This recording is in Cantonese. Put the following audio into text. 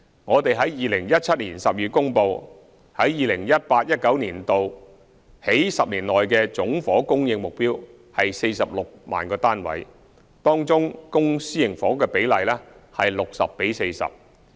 我們在2017年12月公布，在 2018-2019 年度起10年期的總房屋供應目標為46萬個單位，當中公私營房屋的比例為 60：40。